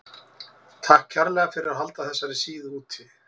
Takk kærlega fyrir að halda þessari síðu úti.